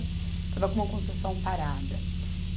Estava com uma construção parada.